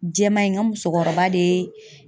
Jɛman in, n ka musokɔrɔba de ye